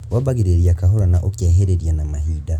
wambagĩrĩria kahora na ũkehĩrĩria na mahinda